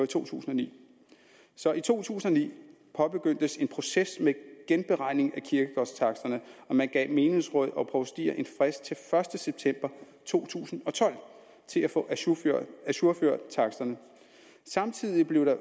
to tusind og ni så i to tusind og ni påbegyndtes en proces med genberegning af kirkegårdstaksterne og man gav menighedsråd og provstier en frist til den første september to tusind og tolv til at få ajourført ajourført taksterne samtidig blev der